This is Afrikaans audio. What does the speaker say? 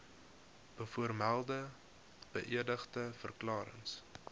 bovermelde beëdigde verklarings